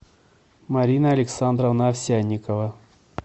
марина александровна овсянникова